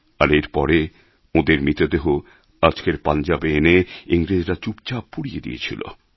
আর এর পরে ওঁদের মৃতদেহ আজকের পাঞ্জাবে এনে ইংরেজরা চুপচাপ পুড়িয়ে দিয়েছিল